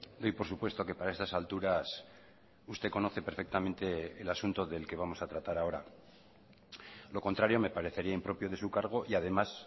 doy por supuesto que para estas alturas usted conoce perfectamente el asunto del que vamos a tratar ahora lo contrario me parecería impropio de su cargo y además